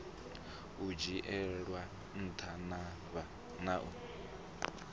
u dzhielwa nṱha na u